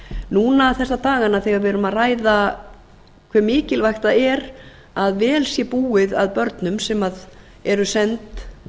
núna þessa dagana þegar við erum að ræða hve mikilvægt það er að vel sé búið að börnum sem eru send